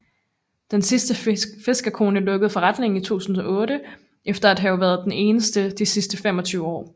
Den sidste fiskerkone lukkede forretningen i 2008 efter at have været den eneste de sidste 25 år